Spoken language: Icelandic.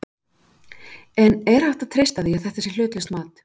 En er hægt að treysta því að þetta sé hlutlaust mat?